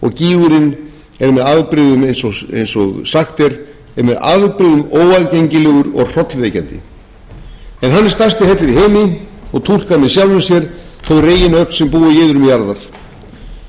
er með afbrigðum eins og sagt er er með afbrigðum óaðgengilegur og hrollvekjandi en hann er stærsti hellir í heimi og túlkar með sjálfum sér þau reginöfl sem búa í iðrum jarðar í ógn sinni er þríhnjúkahellir